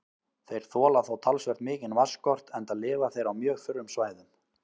Þeir þola þó talsvert mikinn vatnsskort enda lifa þeir á mjög þurrum svæðum.